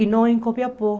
E não